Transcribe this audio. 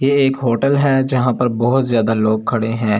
ये एक होटल है जहां पर बहुत ज्यादा लोग खड़े हैं।